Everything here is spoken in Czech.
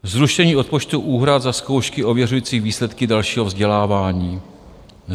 Zrušení odpočtu úhrad za zkoušky ověřující výsledky dalšího vzdělávání.